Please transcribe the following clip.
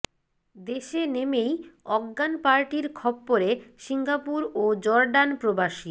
দেশে নেমেই অজ্ঞান পার্টির খপ্পরে সিঙ্গাপুর ও জর্ডান প্রবাসী